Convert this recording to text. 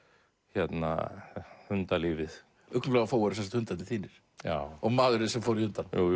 hérna hundalífið ugla og Fóa eru sem sagt hundarnir þínir og maðurinn sem fór í hundana já